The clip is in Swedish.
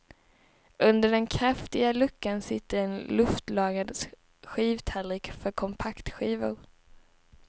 Under den kraftiga luckan sitter en luftlagrad skivtallrik för kompaktskivor.